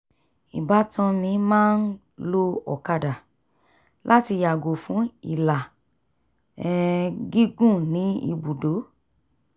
ìbátan mi máa ń lo ọ̀kàdà láti yàgò fún ìlà um gígùn ní ibùdó